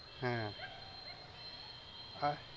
হ্যাঁ, আ~